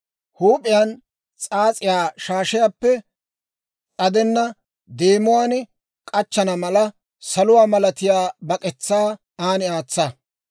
Huup'iyaan s'aas'iyaa shaashiyaappe s'adenna deemuwaan k'achchana mala, saluwaa malatiyaa bak'etsaa an aatsa.